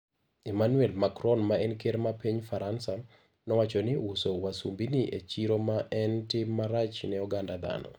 Emmanuel Macron ma en ker mar piny Faransa, nowacho ni uso wasumbini e chiro ne en "tim marach ne oganda dhano".